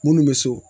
Minnu bɛ so